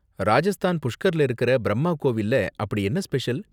ராஜஸ்தான் புஷ்கர்ல இருக்கற பிரம்மா கோவில்ல அப்படி என்ன ஸ்பெஷல்?